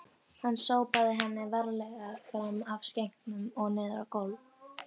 Hann sópaði henni varlega fram af skenknum og niður á gólf